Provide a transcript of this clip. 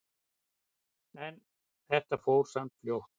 En þetta fór samt fljótt.